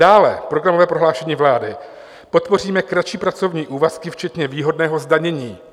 Dále programové prohlášení vlády: "Podpoříme kratší pracovní úvazky včetně výhodného zdanění."